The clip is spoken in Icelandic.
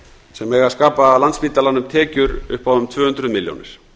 sem eiga að skapa landspítalanum tekjur upp á um tvö hundruð milljónir